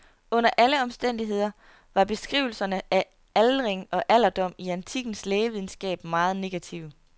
Under alle omstændigheder var beskrivelserne af aldring og alderdom i antikkens lægevidenskab meget negative.